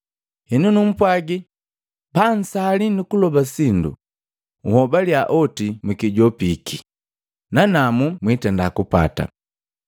Henu numpwagii, pansali nukuloba sindu, nhobaliya oti mukijopiki, nanamu mwitenda kupata.